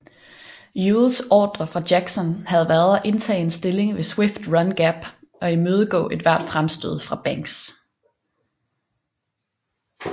Ewells ordrer fra Jackson havde været at indtage en stilling ved Swift Run Gap og imødegå ethvert fremstød fra Banks